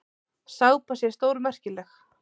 Sápa sé stórmerkileg.